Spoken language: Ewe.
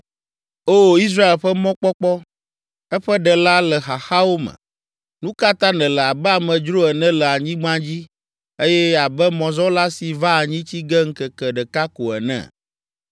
O Israel ƒe Mɔkpɔkpɔ, eƒe Ɖela le xaxawo me; nu ka ta nèle abe amedzro ene le anyigba dzi, eye abe mɔzɔla si va anyi tsi ge ŋkeke ɖeka ko ene?